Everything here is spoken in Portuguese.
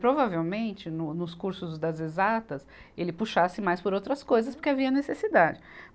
Provavelmente, no, nos cursos das exatas, ele puxasse mais por outras coisas, porque havia necessidade.